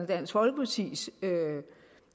dansk folkepartis